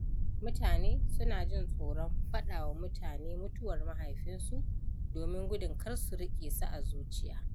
Mutane suna jin tsoron faɗawa mutane mutuwar mahaifinsu domin gudun kar su riƙe su a zuciya.